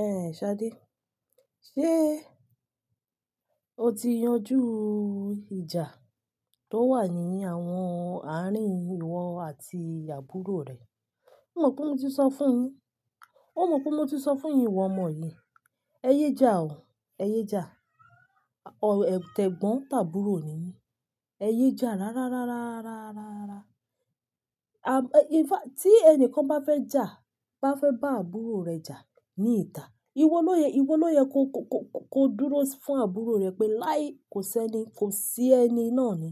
Ẹ̀n Ṣadé, ṣé o ti yanjú ìjà tó wà ní àwọn àárín ìwọ àti àbúrò rẹ? Ó mọ̀ pé mo ti sọ fún yín, ó mọ̀ pé mo ti sọ fún yín ìwọ ọmọ yìí, ẹ yé jà o, ẹ yé jà. Ọ̀, ẹ̀, t'ẹ̀gbọ́n tàbúrò ni yin ẹ yé jà rárá, rárá, rárá, rárá, rárá. À, in fact tí ẹni kan bá fẹ́ jà, bá fẹ́ bá àbúrò rẹ̀ jà ní ìta, ìwo ló yẹ, ìwo ló yẹ ko, ko, ko, ko, ko dúró fún àbúrò rẹ pé láì, kò sẹ́ni, kò sí ẹni náà ni,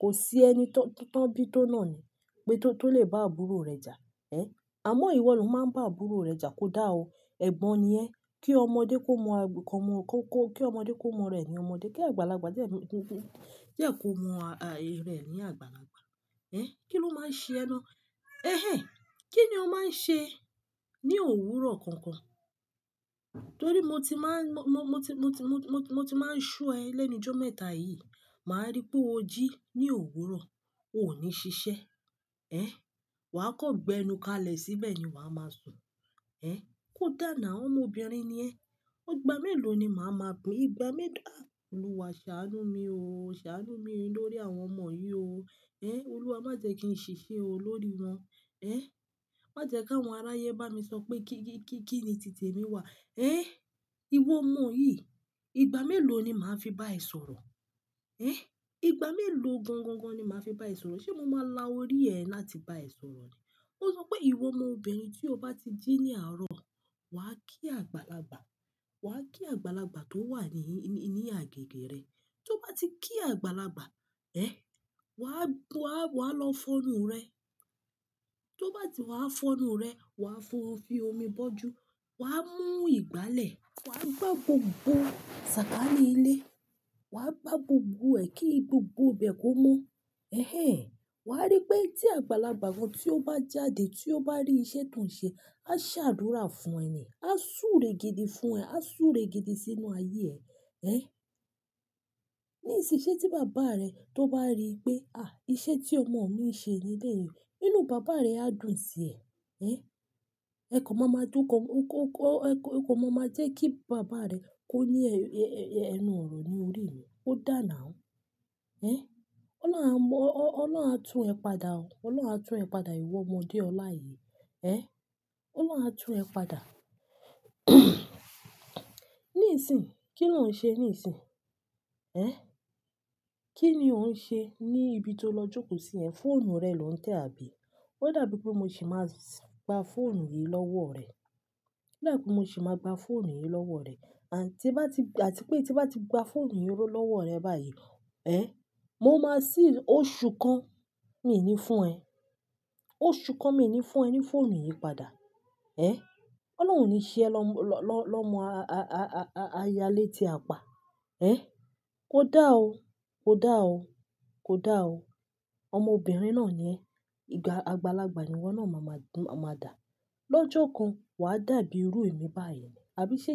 kò sí ẹni tó, tó, tó bí tó náà ni pé tó, tó lè bá àbúrò rẹ̀ jà. Ẹ̀, àmọ́ ìwọ ló máa ń bá àbúrò rẹ jà. Kò dáa o. Ẹ̀gbọ́n ni ẹ. Kí ọmọdé kó mọ à, kó mọ kó, kó, kí ọmọdé kó mọ rẹ̀ ní ọmọdé. Kí àgbàlagbà jẹ́ kí, jẹ́ kí ó mọ ará rẹ̀ ní àgbàlagbà. Ẹ̀, kí ló máa ń ṣe ẹ ná? Ẹhẹ́n, kí ni o máa ń ṣe ní òwúrọ̀ gangan? Torí mo ti máa ń so ẹ lẹ́nu ijọ́ mẹ́ta yìí. Máa rí pé o jí ní òwúrọ̀, o ní ṣiṣẹ́. Wà á kan gbẹ́nú kalẹ̀ síbẹ̀ yen wà á máa sùn. Kò dá now, ọmọbìnrin ni ẹ. Ìgbà mélòó ni màá máa pi i? Olúwa ṣàánú mi o, ṣàánú mi lórí àwọn ọmọ yìí o. Olúwa má jẹ́ kí n ṣìṣe o lórí wọn. Má jẹ́ kí àwọn aráyé bá mi sọ pé kí ni tìtẹ̀ emi wà. Ìwọ ọmọ yìí, ìgbà mélòó ni màá fi bá ẹ sọ̀rọ̀? Ìgbà mélòó gan-gan-gan ni màá fi bá ẹ sọ̀rọ̀? Ṣé mo máa la orí ẹ láti bá ẹ sọ̀rọ̀ ni? Ó sọ pé ìwọ ọmọbìnrin tí o bá ti jí ní àárọ̀, wà á kí àgbàlagbà, wà á kí àgbàlagbà tó wà ní agbègbè rẹ. Tí o bá ti kí àgbàlagbà, wà á lọ sun orun rẹ. Tí o bá ti wá fọ́nu rẹ, wà á fi omi bọ́ ju, wà á mú ìgbálẹ̀, wà á gbá gbogbo sàkání ilé, wà á gbá gbogbo ẹ̀ kí gbogbo bẹ́ẹ̀ kó mọ́. Wà á rí pé tí àgbàlagbà kan tí o bá jáde, tí ó bá rí iṣẹ́ tó ń ṣe, a ṣàdúrà fún ẹ ni, a súre gidi fún ẹ, a súre gidi sínú ayé ẹ. Ní ìsin yìí ṣe tí bàbá rẹ tó bá rí pé, iṣẹ́ tí ọmọ mi ń ṣe nílé yìí, inú bàbá rẹ á dùn sí ẹ. Ẹ kan ma máa jẹ́ kí bàbá rẹ kó ní ẹnu òrò ní orí mi. Kò da now. Ọlọ́run á tu ẹ padà o. Ọlọ́run á tu ẹ padà ìwọ ọmọ déọ̀la yìí. Ọlọ́run á tu ẹ padà. Nísìń, kí ni o ṣe nísìń? Kí ni ò ṣe ní ibi tó lọ jókòó sí yẹn? Fóònù rẹ lò ń tẹ̀ àbí? Ó dàbí pé mo sì máa gba fóònù yìí lọ́wọ́ rẹ. Ó dàbí pé mo sì máa gba fóònù yìí lọ́wọ́ rẹ. Àti pé tí bá ti gba fóònù yìí lọ́wọ́ rẹ báyìí, oṣù kan, mi ní fún ẹ. Oṣù kan mi ní fún ẹ ní fóònù yìí padà. Ọlọ́run ò ní ṣe ẹ lọ́mọ aya létí apá. Kò dáa o, kò dáa o, kò dáa o. Ọmọbìnrin náà ni ẹ. Àgbàlagbà ni ìwọ náà máa máa dà. Lójokan, wà á dàbí irú èmi báyìí ni. Àbí ṣe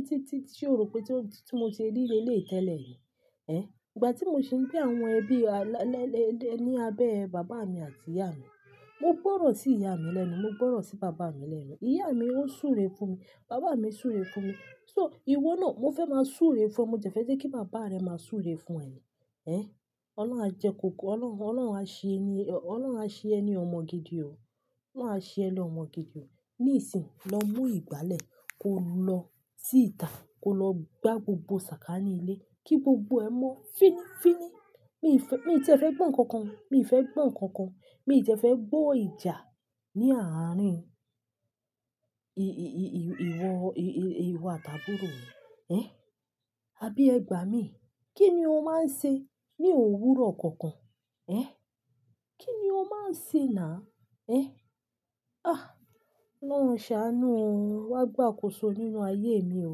o rò pé tí mo ṣe rí lé lé yìí tẹ́lẹ̀ ni? Ìgbà tí mo ṣe ń gbé ní abẹ́ bàbá mi àti ìyá mi, mo gbọ́rọ̀ sí ìyá mi lẹ́nu, mo gbọ́rọ̀ sí bàbá mi lẹ́nu. Ìyá mi ó súre fún mi, bàbá mi súre fún mi. So ìwọ náà, mo fẹ́ máa súre fún ọ. Mo jẹ̀fẹ́ jẹ́ kí bàbá rẹ máa súre fún ẹ ni. Ẹ̀, Ọlọ́run á jẹ kó ko, Ọlọ́run, Ọlọ́run á ṣe ẹ ní, Ọlọ́run á ṣe ẹ ní ọmọ gidi o. Ọlọ́run á ṣe ẹ ní ọmọ gidi o. Nísìń lọ mú ìgbálẹ̀, ko lọ sí ìta, ko lọ gbá gbogbo sàkání ilé kí gbogbo ẹ mọ́. Fíní, fíní. Mi fẹ́, mi tí e fẹ́ gbọ̀ nkankan. Mi fẹ́ gbọ̀ nkankan. Mi de fẹ́ gbọ́ ìjà ní àárín ì, ì, ì, ìwọ, ì, ì, ìwọ àti àbúrò rẹ. Ẹ̀, àbí ẹ gbà mí? Kí ni o máa ń ṣe ní òwúrọ̀ kankan? Ẹ̀, kín ni o máa ń ṣe náà? Ẹ̀, ah! Ọlọ́run ṣàánú o. Wá gbà akòso nínú ayé mi o.